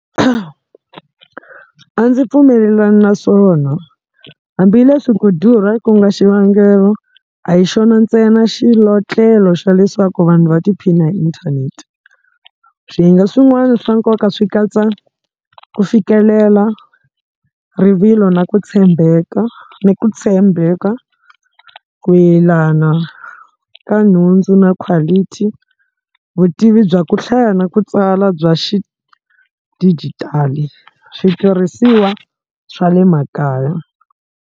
A ndzi pfumelelani na swona hambileswi ku durha ku nga xivangelo, a hi xona ntsena xilotlela xa leswaku vanhu va tiphina hi inthanete. Swihinga swin'wana swa nkoka swi katsa ku fikelela rivilo na ku tshembeka ni ku tshembeka, ku yelana ka nhundzu na quality vutivi bya ku hlaya na ku tsala bya xidijitali switirhisiwa swa le makaya.